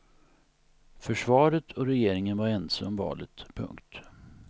Försvaret och regeringen var ense om valet. punkt